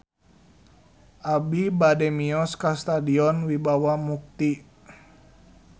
Abi bade mios ka Stadion Wibawa Mukti